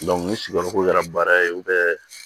ni sigiyɔrɔ ko kɛra baara ye